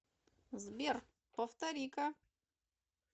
сбер повтори ка